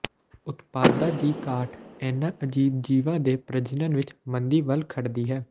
ਉਤਪਾਦਾਂ ਦੀ ਘਾਟ ਇਹਨਾਂ ਅਜੀਬ ਜੀਵਾਂ ਦੇ ਪ੍ਰਜਨਨ ਵਿੱਚ ਮੰਦੀ ਵੱਲ ਖੜਦੀ ਹੈ